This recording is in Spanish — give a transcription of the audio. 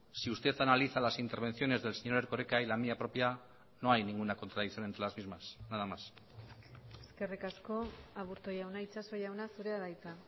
si usted analiza las intervenciones del señor erkoreka y la mía propia no hay ninguna contradicción entre las mismas nada más eskerrik asko aburto jauna itxaso jauna zurea da hitza